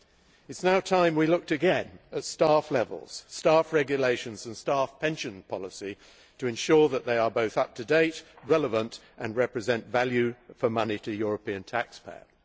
It is now time we looked again at staff levels, staff regulations and staff pensions policies to ensure that they are both up to date, relevant and represent value for money to the European taxpayer.